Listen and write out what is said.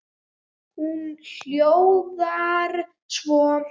Hún hljóðar svo